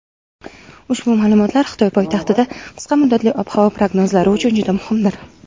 ushbu ma’lumotlar Xitoy poytaxtida qisqa muddatli ob-havo prognozlari uchun juda muhimdir.